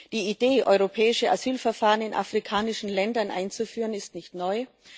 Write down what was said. Die Idee, europäische Asylverfahren in afrikanischen Ländern einzuführen, ist nicht neu.